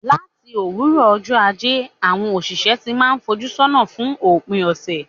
Láti òwúrọ̀ ọjọ́ Ajé, àwọn òṣìṣẹ́ ti n máà fojú sọ́nà fún òpin ọ̀sẹ̀.